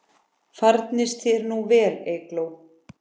Farnist þér nú vel, Eygló.